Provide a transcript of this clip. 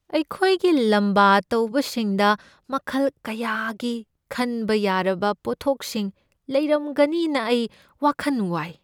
ꯑꯩꯈꯣꯏꯒꯤ ꯂꯝꯕꯥ ꯇꯧꯕꯁꯤꯡꯗ ꯃꯈꯜ ꯀꯌꯥꯒꯤ ꯈꯟꯕ ꯌꯥꯔꯕ ꯄꯣꯠꯊꯣꯛꯁꯤꯡ ꯂꯩꯔꯝꯒꯅꯤꯅ ꯑꯩ ꯋꯥꯈꯟ ꯋꯥꯏ꯫